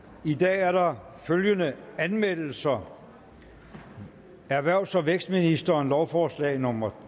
i dag er der følgende anmeldelser erhvervs og vækstministeren lovforslag nummer